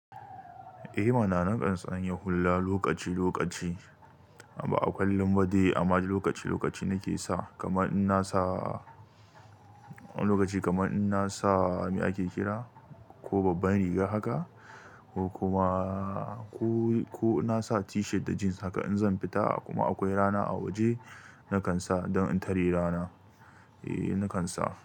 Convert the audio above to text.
Eh ma na, na kan tsanye hulla lokaci lokaci. Ba akallum bade amma lokaci lokaci na ke sa, kamar in na sa lokaci kamar in na sa mi ake kira ko babban riga haka ko kuma ko, ko na sa t-shirt da jeans haka in zan fita kuma akwai rana a waje, na kan sa don in tare rana. Eh na kan sa.